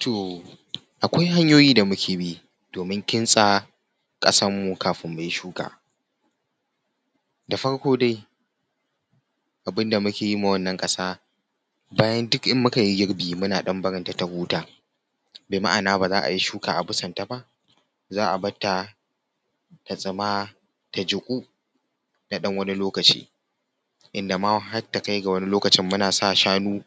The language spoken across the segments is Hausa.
Toh akwai hanyoyi da muke bi domin kintsa ƙasar mu kafin mu yi shuka. Da farko dai abin da muke yi ma wannan ƙasa bayan duk in muka yi girbi muna ɗan barin ta ta huta, bima’ana ba za yi shuka a bisan ta ba, za a barta ta tsuma ta juƙu na ɗan wani lokaci inda ma har ta kai ga wani lokaci muna sa shanu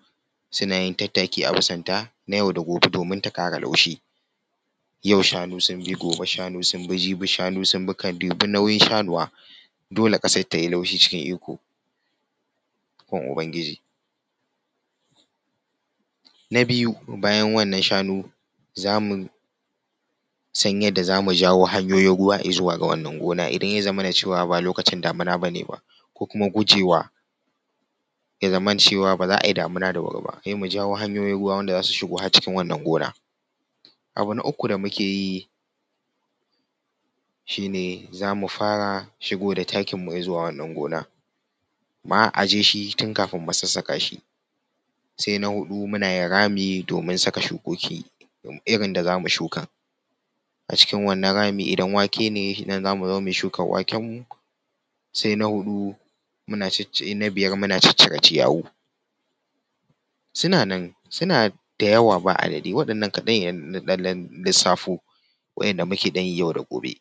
suna yin tattaki a bisan ta na yau da gobe domin ta ƙara laushi. Yau shanu sun bi, gobe shanu sun bi jibi shanu sun bi ka dubi nauyin shanuwa dole ƙasar ta yi laushi cikin ikon ikon ubangiji. Na biyu bayan wannan shanu za mu san yadda za mu jawo hanyoyin ruwa izuwa wannan gonar idan ya zamana cewa ba lokacin damuna bane ba ko kuma gujewa ya zamana cewa ba za a yi damuna da wuri ba sai mu jawo hanyoyin ruwa har cikin wannan gona. Abu na uku da muke yi shine za mu fara shigo da takin mu izuwa wannan gona, ma a ajiye shi tun kafin mu sassaka shi. Sai na huɗu muna yin rami domin mu sassaka shukoki irin da za mu shuka, acikin wannan rami idan wake ne a nan za mu zo mu yi shukar waken mu. Sai na huɗu muna, na biyar muna ciccire ciyawu, suna nan suna da yawa babu adadi waɗannan kaɗan ne na ɗan lillissafo waɗanda muke ɗan yi yau da gobe.